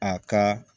A ka